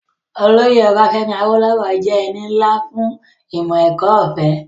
Olóyè Ọbafẹ́mi Awólówọ̀ jẹ́ ẹni nlá fún ìmọ̀-ẹ̀kọ́ ọ̀fẹ́